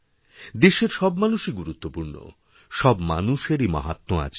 দেশের সব মানুষইগুরুত্বপূর্ণ সব মানুষেরই মাহাত্ম্য আছে